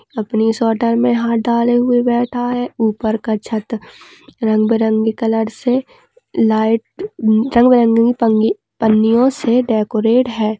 अपनी स्वेटर मे हाथ डाले हुए बैठा हुआ है ऊपर का छत रंगबिरंगी कलर से लाइट पन्निओंसे डेकोरट है।